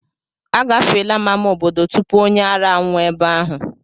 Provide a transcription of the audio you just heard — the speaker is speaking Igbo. Agafeela m ámá obodo tupu onye ara anwụọ ebe ahụ.